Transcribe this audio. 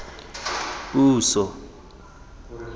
puiso